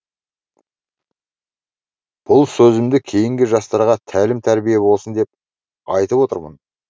бұл сөзімді кейінгі жастарға тәлім тәрбие болсын деп айтып отырмын